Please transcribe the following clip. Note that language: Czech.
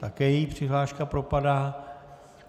Také její přihláška propadá.